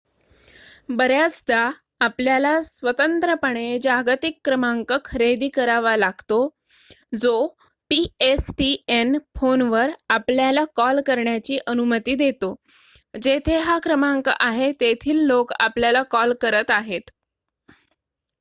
बर्‍याचदा आपल्याला स्वतंत्रपणे जागतिक क्रमांंक खरेदी करावा लागतो जो pstn फोनवर आपल्याला कॉल करण्याची अनुमती देतो जेथे हा क्रमांक आहे तेथील लोक आपल्याला कॉल करत आहेत